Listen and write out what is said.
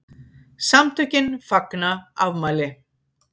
SAMTÖKIN FAGNA AFMÆLI